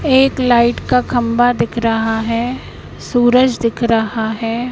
एक लाइट का खंभा दिख रहा है सूरज दिख रहा है।